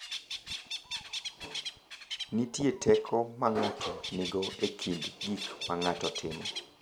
Nitie teko ma ng’ato nigo e kind gik ma ng’ato timo.